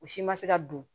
O si ma se ka don